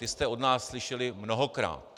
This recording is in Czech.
Ty jste od nás slyšeli mnohokrát.